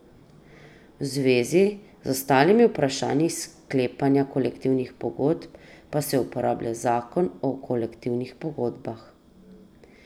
V zvezi z ostalimi vprašanji sklepanja kolektivnih pogodb pa se uporablja zakon o kolektivnih pogodbah.